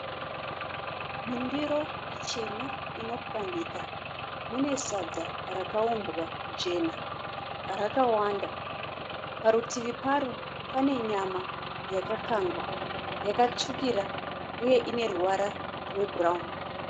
Mundiro ichena ino pwanyika mune sadza rakaumbwa jena rakawanda, parutivi paro pane nyama yakakangwa yakatsvukira uye ine ruvara rweBrown.